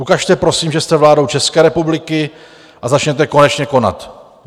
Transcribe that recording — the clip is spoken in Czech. Ukažte prosím, že jste vládou České republiky, a začněte konečně konat.